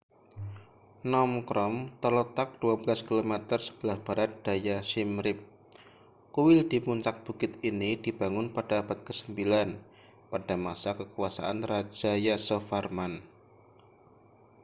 phnom krom terletak 12 km sebelah barat daya siem reap kuil di puncak bukit ini dibangun pada abad ke-9 pada masa kekuasaan raja yasovarman